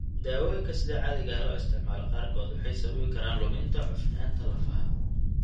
Daawooyinka sida caadiga ah loo isticmaalo qaarkood waxay sababi karaan luminta cufnaanta lafaha.